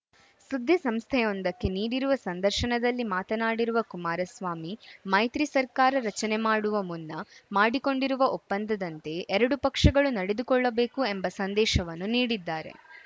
ಸುದ್ದಿ ಸಂಸ್ಥೆಯೊಂದಕ್ಕೆ ನೀಡಿರುವ ಸಂದರ್ಶನದಲ್ಲಿ ಮಾತನಾಡಿರುವ ಕುಮಾರಸ್ವಾಮಿ ಮೈತ್ರಿ ಸರ್ಕಾರ ರಚನೆ ಮಾಡುವ ಮುನ್ನ ಮಾಡಿಕೊಂಡಿರುವ ಒಪ್ಪಂದದಂತೆ ಎರಡು ಪಕ್ಷಗಳು ನಡೆದುಕೊಳ್ಳಬೇಕು ಎಂಬ ಸಂದೇಶವನ್ನು ನೀಡಿದ್ದಾರೆ